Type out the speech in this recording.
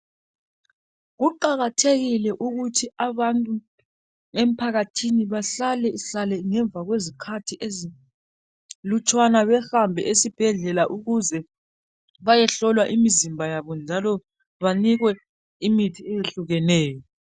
Kuqakathekile ukuthi abantu emphakathini bahlale hlale ngemva kwezikhathi ezilutshwana behambe ezibhedlela ukuze bayehlolwa imizimba yabo njalo banikwe imithi eyehlukeneyo.